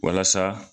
Walasa